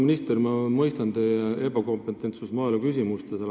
Auväärt minister, ma mõistan teie ebakompetentsust maaeluküsimustes.